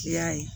I y'a ye